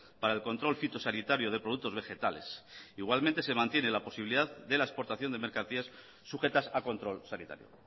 para el control fitosanitario de productos vegetales igualmente se mantiene la posibilidad de la exportación de mercancías sujetas a control sanitario